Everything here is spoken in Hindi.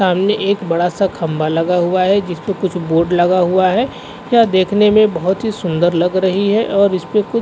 सामने एक बडा सा खंभा लगा हुआ है जिस पे कुछ बोर्ड लगा हुआ है। यह देखने मे बोहत सुंदर लग रही है और इस पे कुछ --